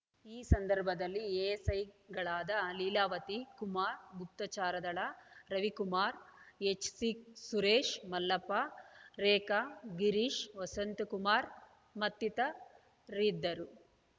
ಈ ಸಂದರ್ಭದಲ್ಲಿ ಎಎಸೈಗಳಾದ ಲೀಲಾವತಿ ಕುಮಾರ್‌ ಗುಪ್ತಚರದಳ ರವಿಕುಮಾರ್‌ ಎಚ್‌ಸಿ ಸುರೇಶ್‌ ಮಲ್ಲಪ್ಪ ರೇಖಾ ಗಿರೀಶ್‌ ವಸಂತಕುಮಾರ್‌ ಮತ್ತಿತರಿದ್ದರು